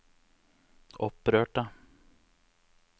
opprørte